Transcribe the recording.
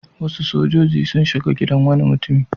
Wasu sojoji sun shiga gidan wani mutum.